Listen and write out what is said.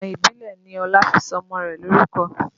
Ìlànà ìbílẹ̀ ni Ọlá fi sọ ọmọ rẹ̀ lorúkọ